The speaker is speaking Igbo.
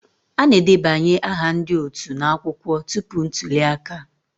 A na-edebanye aha ndị otu n'akwụkwọ tupu ntuli aka